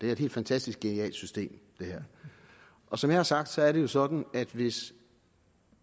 er et helt fantastisk genialt system og som jeg har sagt er det jo sådan at hvis